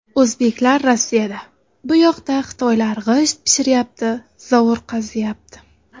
O‘zbeklar Rossiyada, buyoqda xitoylar g‘isht pishiryapti, zovur qaziyapti.